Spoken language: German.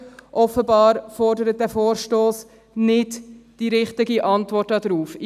Offenbar fordert dieser Vorstoss nicht die richtige Antwort darauf.